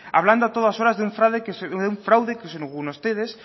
hablando a todas horas de un fraude que según ustedes